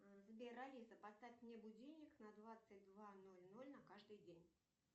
сбер алиса поставь мне будильник на двадцать два ноль ноль на каждый день